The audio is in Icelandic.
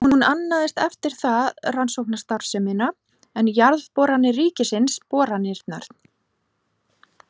Hún annaðist eftir það rannsóknastarfsemina, en Jarðboranir ríkisins boranirnar.